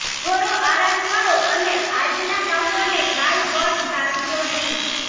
થોડો આરામ કરો અને આજના કામોને કાલ પર ટાળશો નહી